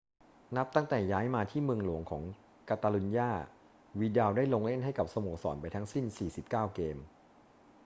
นับตั้งแต่ย้ายมาที่เมืองหลวงของกาตาลุญญา วิดัลได้ลงเล่นให้กับสโมสรไปทั้งสิ้น 49 เกม